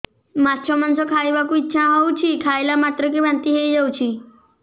ମାଛ ମାଂସ ଖାଇ ବାକୁ ଇଚ୍ଛା ହଉଛି ଖାଇଲା ମାତ୍ରକେ ବାନ୍ତି ହେଇଯାଉଛି